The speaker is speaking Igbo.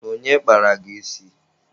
Onye kpara gị isi?